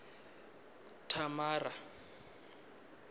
thamara